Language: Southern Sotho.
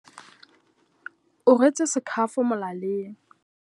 O rwetse sekhafo molaleng.